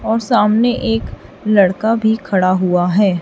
और सामने एक लड़का भी खड़ा हुआ है।